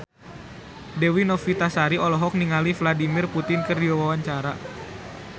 Dewi Novitasari olohok ningali Vladimir Putin keur diwawancara